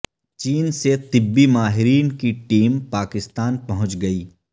چین سے طبی ماہرین کی ٹیم پاکستان پہنچ گئی